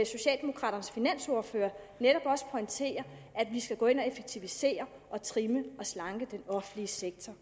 socialdemokraternes finansordfører pointere at vi skal gå ind og effektivisere og trimme og slanke den offentlige sektor